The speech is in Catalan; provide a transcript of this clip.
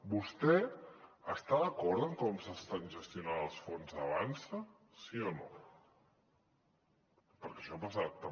vostè està d’acord en com s’estan gestionant els fons avançsa sí o no perquè això ha passat també